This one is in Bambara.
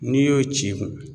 N'i y'o ci kun